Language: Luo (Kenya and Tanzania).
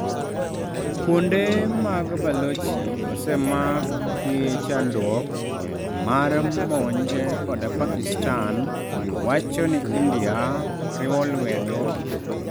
Kuonde mag Balochi osemak gi chandruok mar monj kod pakistan wacho ni India riwo lwedo